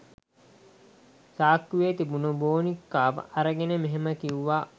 සාක්කුවේ තිබුණ බෝනික්කාව අරගෙන මෙහෙම කිව්වා.